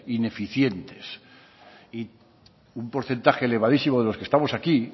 ineficientes y un porcentaje elevadísimo de los que estamos aquí